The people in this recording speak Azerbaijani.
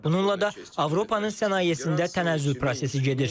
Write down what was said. Bununla da Avropanın sənayesində tənəzzül prosesi gedir.